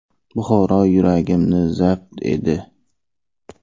Buxoro yuragimni zabt edi.